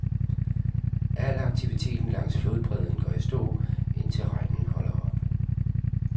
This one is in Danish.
Al aktiviten langs flodbredden går i stå, indtil regnen holder op.